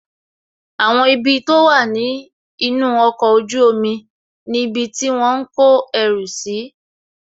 Àwọn ibi tó wà ní inú ọkọ̀ ojú omi ni ibi tí wọ́n ń kọ ẹrù si